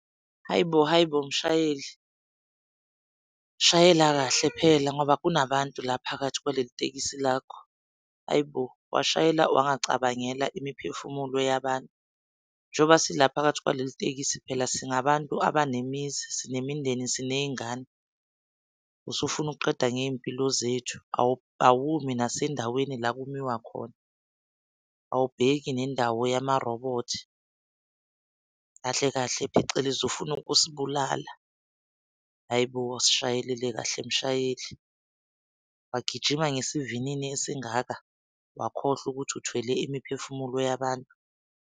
Hayi bo, hayi bo, mshayeli! Shayela kahle phela ngoba kunabantu la phakathi kwaleli tekisi lakho, hayi bo washayela wacabangela imiphefumulo yabantu. Njoba sila phakathi kwaleli tekisi, phela singabantu abanemizi sinemindeni siney'ngane. Usufuna ukuqeda ngezimpilo zethu awumi nasendaweni la kumiwa khona. Awubheki nendawo yama-robot kahle kahle, phecelezi ufuna ukusibulala. Hayi bo sishayelele kahle mshayeli wagijima ngesivinini esingaka wakhohlwa ukuthi uthwele imiphefumulo yabantu.